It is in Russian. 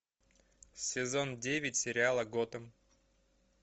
сезон девять сериала готэм